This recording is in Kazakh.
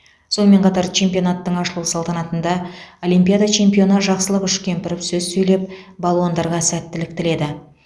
сонымен қатар чемпионаттың ашылу салтанатында олимпиада чемпионы жақсылық үшкемпіров сөз сөйлеп балуандарға сәттілік тіледі